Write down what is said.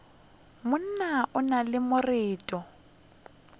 monna o na le marato